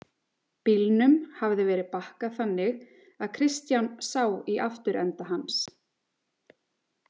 Bílnum hafði verið bakkað þannig að Kristján sá í afturenda hans.